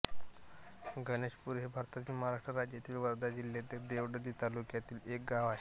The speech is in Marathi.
गणेशपूर हे भारतातील महाराष्ट्र राज्यातील वर्धा जिल्ह्यातील देवळी तालुक्यातील एक गाव आहे